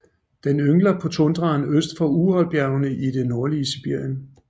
Den yngler på tundraen øst for Uralbjergene i det nordlige Sibirien